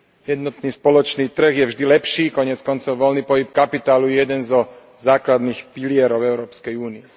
Jednotný spoločný trh je vždy lepší, koniec koncov voľný pohyb kapitálu je jeden zo základných pilierov Európskej únie.